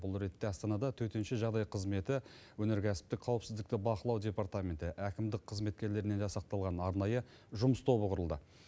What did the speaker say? бұл ретте астанада төтенше жағдай қызметі өнеркәсіптік қауіпсіздікті бақылау департаменті әкімдік қызметкерлерінен жасақталған арнайы жұмыс тобы құрылды